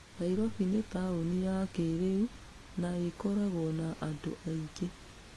Nairobi nĩ taũni ya kĩĩrĩu na ĩkoragwo na andũ aingĩ.